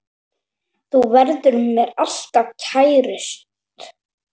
Þú verður mér alltaf kærust.